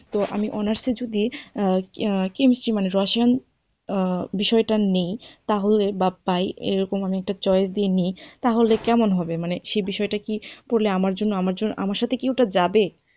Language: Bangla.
তো আমি honours এ যদি chemistry মানে রসায়ন আহ বিষয়টা নিই তাহলে বা পাই এরকম আমি একটা choice দিয়ে নিই তাহলে কেমন হবে, মানে সেই বিষয়টা কি পড়লে আমার জন্য আমার জন্য আমার সাথে কি ওটা যাবে?